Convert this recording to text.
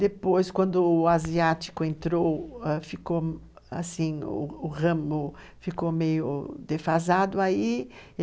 Depois, quando o asiático entrou, o ramo ficou meio defasado, aí,